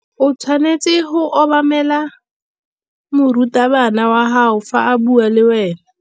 O tshwanetse go obamela morutabana wa gago fa a bua le wena.